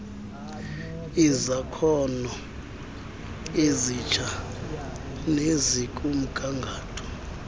kwezakhono ezitsha nezikumgangatho